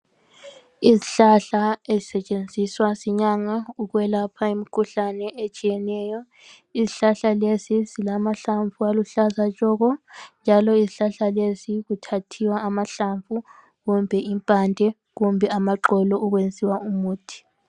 Izihlahla ezisetshenziswa yinyanga ukwelapha imkhuhlane etshiyeneyo izihlahla lezi zilamahlamvu aluhlaza tshoko njalo izihlahla lezi zithathiwa amahlamvu kumbe impande kumbe amaxolo ukwenziwa umuthi.